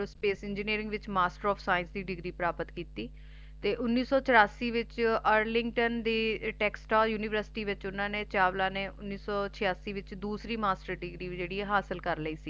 Space Engineering ਵਿਚ Master Of Science ਦੀ degree ਪ੍ਰਾਪਤ ਕੀਤੀ ਤੇ ਉੱਨੀ ਸੀ ਚਰਾਸੀ ਵਿੱਚ ਅਰਲਿੰਟੋਂ ਦੀ ਟੈਕਸਲਾ ਯੂਨੀਵਰਸਿਟੀ ਵਿੱਚ ਓਹਨਾ ਨੇ ਚਾਵਲਾ ਨੇ ਉੱਨੀ ਸੋ ਚਆਸੀ ਵਿੱਚ ਦੂਸਰੀ ਮਾਸਟਰ ਡਿਗਰੀ ਵੀ ਜਿਹੜੀ ਏ ਹਾਸਲ ਕਰ ਲਈ ਸੀ